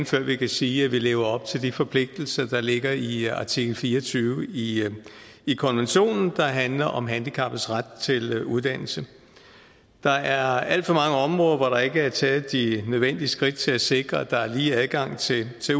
før vi kan sige at vi lever op til de forpligtelser der ligger i artikel fire og tyve i i konventionen og som handler om handicappedes ret til uddannelse der er alt for mange områder hvor der ikke er taget de nødvendige skridt til at sikre at der er lige adgang til